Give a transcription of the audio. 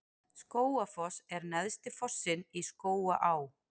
Skógafoss er neðsti fossinn í Skógaá.